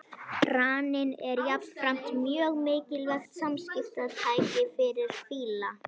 Raninn er jafnframt mjög mikilvægt samskiptatæki fyrir fíla.